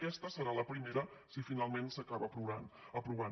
aquesta serà la primera si finalment s’acaba aprovant